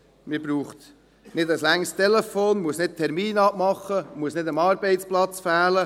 Man braucht kein langes Telefonat, man muss keinen Termin abmachen, man muss nicht am Arbeitsplatz fehlen.